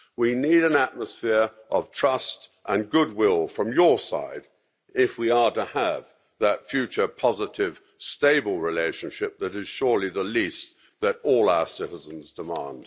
We need an atmosphere of trust and goodwill from your side if we are to have that future positive, stable relationship that is surely the least that all our citizens demand.